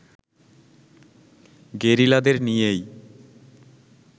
গেরিলাদের নিয়েই